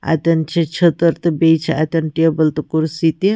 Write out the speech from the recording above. . تہٕ کُرسی تہِ۔ اَتٮ۪ن چھ چٔھتٕر تہٕ بیٚیہِ چھ اَتٮ۪ن ٹیبل